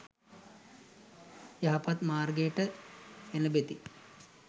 යහපත් මාර්ගයට එළැඹෙති.